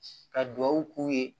Ka duwawu k'u ye